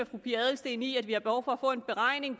fru pia adelsteen i at vi har behov for at få en beregning